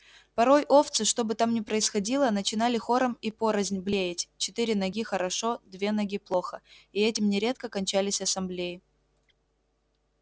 порой овцы что бы там ни происходило начинали хором и порознь блеять четыре ноги хорошо две ноги плохо и этим нередко кончались ассамблеи